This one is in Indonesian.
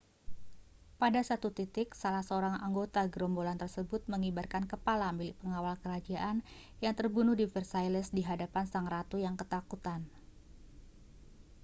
pada satu titik salah seorang anggota gerombolan tersebut mengibarkan kepala milik pengawal kerajaan yang terbunuh di versailles di hadapan sang ratu yang ketakutan